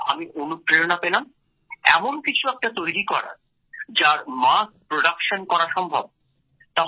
সেখান থেকে আমি অনুপ্রেরণা পেলাম এমন কিছু একটা তৈরী করার যার মাস প্রোডাকশন করা সম্ভব